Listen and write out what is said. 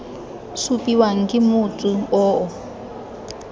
supiwang ke motsu o o